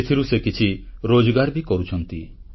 ସେଥିରୁ ସେ କିଛି ରୋଜଗାର ବି କରୁଛନ୍ତି